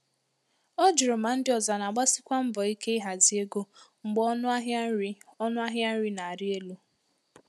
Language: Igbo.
Ọ jụrụ ma ndị ọzọ na-agbasikwa mbọ ike ịhazi ego mgbe ọnụ ahịa nri ọnụ ahịa nri na-arị elu.